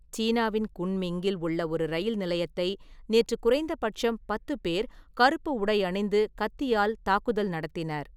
சீனாவின் குன்மிங்கில் உள்ள ஒரு ரயில் நிலையத்தை நேற்று குறைந்தபட்சம் பத்து பேர், கருப்பு உடை அணிந்து, கத்தியால் தாக்குதல் நடத்தினர்.